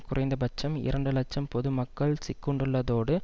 குறைந்த பட்சம் இரண்டு இலட்சம் பொது மக்கள் சிக்குண்டுள்ளதோடு